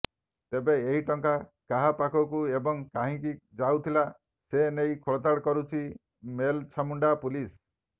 ତେବେ ଏହି ଟଙ୍କା କାହା ପାଖକୁ ଏବଂ କାହିଁକି ଯାଉଥିଲା ସେ ନେଇ ଖୋଳତାଡ଼ କରୁଛି ମେଲଛାମୁଣ୍ଡା ପୁଲିସ୍